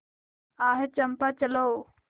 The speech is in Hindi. आह चंपा चलो